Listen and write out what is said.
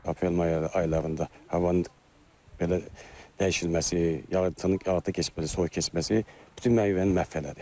Aprel-may aylarında havanın belə dəyişilməsi, yayıtı keçməsi, soyuq keçməsi bütün meyvəni məhv elədi.